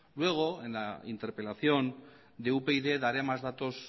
luego en la interpelación de upyd daré más datos